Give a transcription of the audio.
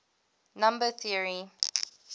number theory